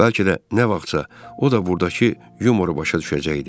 Bəlkə də nə vaxtsa o da burdakı yumoru başa düşəcəkdi.